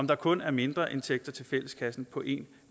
der kun er mindreindtægter til fælleskassen på en